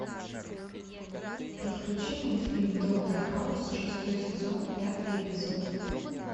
подключи мультфильм доктор хаус шестой сезон пятый эпизод